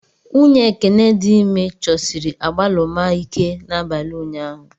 Nwunye Ekene dị ime chọsiri agbaluma ike n'abalị ụnyahụ.